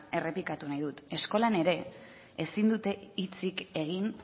errepikatu nahi dut eskolan ere ezin dute hitzik egin